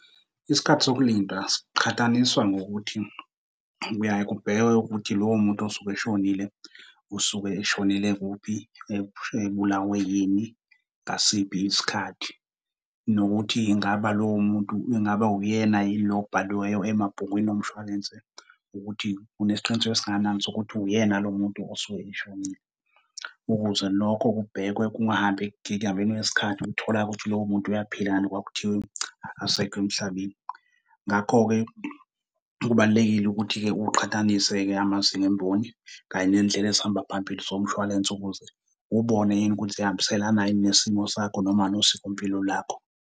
Isikhathi sokulinda siqhathaniswa ngokuthi, kuyaye kubhekwe ukuthi lowo muntu osuke eshonile usuke eshonele kuphi, ebulawe yini, ngasiphi isikhathi. Nokuthi ingaba lowo muntu ingabe uyena yini lo obhaliweyo emabhukwini omshwalense, ukuthi unesiqiniseko esingakanani sokuthi uyena lo muntu osuke eshonile ukuze lokho kubhekwe kungahambi kwesikhathi kutholakale ukuthi lowo muntu uyaphila, kanti kwakuthiwe akasekho emhlabeni. Ngakho-ke, kubalulekile ukuthi-ke uqhathanise-ke amazinga emboni kanye nendlela ezihamba phambili zomshwalense ukuze ubone yini ukuthi ziyahambiselana yini nesimo sakho noma nosikompilo lakho.